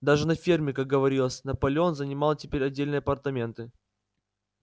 даже на ферме как говорилось наполеон занимал теперь отдельные апартаменты